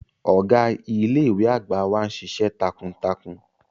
Ọga ile-iwe agba wa nšiṣ̌ẹ takuntakun.